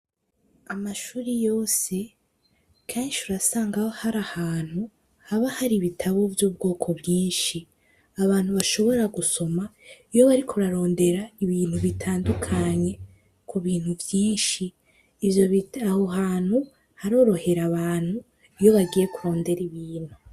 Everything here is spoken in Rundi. Amashuri yose kenshi urasangaho hari ahantu haba hari ibitabo vy'ubwoko bwinshi abantu bashobora gusoma iyo bari kurarondera ibintu bitandukanye ku bintu vyinshi ibyo abo hantu harorohera abantu iyo bagiye kurondera ibintu.